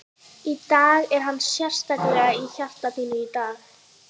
Í dag, er hann sérstaklega í hjarta þínu í dag?